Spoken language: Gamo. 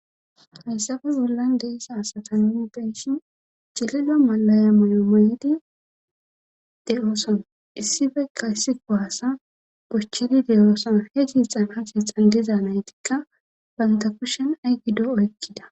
hayssafe bollan de'iza asata nuu be'oshin cilila malaya moyo moydi de7ooson issibekka issi kohaasa gochchidi de7ooson fe ciixan ha hiixan diza naytikka banta kushen ay gido oykkida